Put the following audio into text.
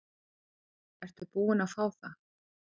Ertu búin að fá það?